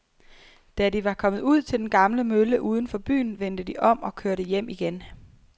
Da de var kommet ud til den gamle mølle uden for byen, vendte de om og kørte hjem igen.